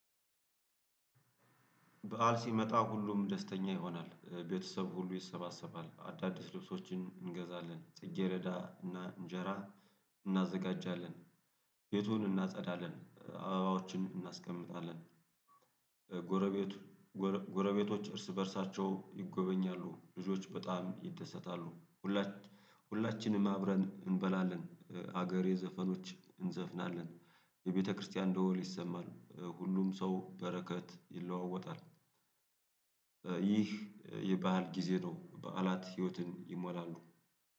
በዓል ሲመጣ ሁሉም ደስተኛ ይሆናል። ቤተሰብ ሁሉ ይሰባሰባል፣ አዳዲስ ልብሶችን እንገዛለን፣ ጽጌሬዳ እና እንጀራ እናዘጋጃለን ቤቱን እናጸዳለን፣ አባባዎችን እናስቀምጣለን፣ ጎረቤት ጎረቤቶች እርስ በእርሳቸው ይጎበኛሉ፣ ልጆች በጣም ይደሰታሉ ሁላችንም አብረን እንበላለን፣ ሀገሬ ዘፈኖች እንዘፍናለን፣ የቤተክርስቲያን ደወል ይሰማል፣ ሁሉም ሰው በረከት ይለዋወጣል፣ ይህ የባዓል ጊዜ ነው፣ በዓላት ህይወትን ይሞላሉ